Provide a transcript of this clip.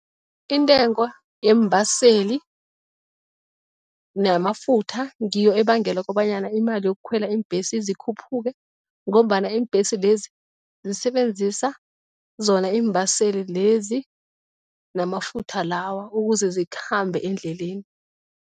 Intengo yeembaseli namafutha ngiyo ebangela kobanyana imali yokukhwela iimbhesi zikhuphuke ngombana iimbhesi lezi zisebenzisa zona iimbaseli lezi namafutha lawa, ukuze zikhambe endleleni.